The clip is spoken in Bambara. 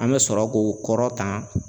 An bɛ sɔrɔ k'o kɔrɔtan